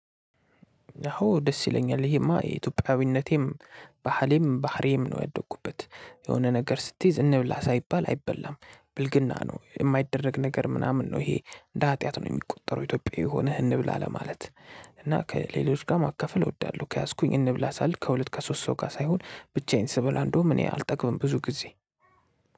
ያሆ ደስ ይለኛል ይሄማ የኢትዮጵያዊነቴም ባህሌም ባህሪም ነው ያደኩበት የሆነ ነገር ስትይዝ እንብላ ሳይባል አይበላም ብልግና ነው የማይደረግ ነገር ምናምን ነው ይሄ እንደ ሀጥያት ነው የሚቆጠረው ኢትዮጵያዊ የሆነ እንብላ አለማለት። እና ከሌሎች ጋር ማካፈል እወዳለሁ። ከያዝኩኝ እንብላ ሳል ከሁለት ከሶስት ሰው ጋር ሳይሆን ብቻዬን ስብላ እንደውም እኔ አልጠግብም ብዙ ጊዜ።